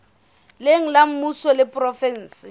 leng la mmuso le provenseng